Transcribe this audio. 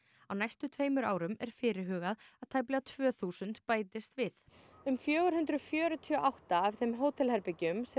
á næstu tveimur árum er fyrirhugað að tæplega tvö þúsund bætist við um fjögur hundruð fjörutíu og átta af þeim hótelherbergjum sem